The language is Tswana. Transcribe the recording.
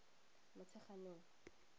motsheganong